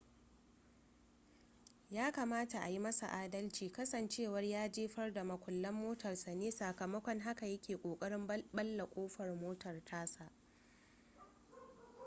ya kamata a yi masa adalci kasancewar ya jefar da mukullan motarsa ne sakamakon haka ya ke kokarin balle kofar motar tasa